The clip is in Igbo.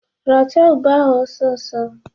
Rachaa ube ahụ ọsọ ọsọ!